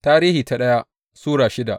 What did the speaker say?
daya Tarihi Sura shida